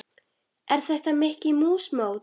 Er þetta Mikka mús mót?